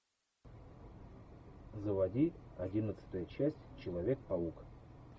заводи одиннадцатая часть человек паук